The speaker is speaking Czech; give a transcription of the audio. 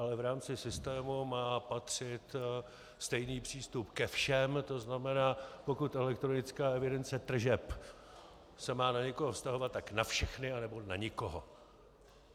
Ale v rámci systému má patřit stejný přístup ke všem, to znamená pokud elektronická evidence tržeb se má na někoho vztahovat, tak na všechny, anebo na nikoho.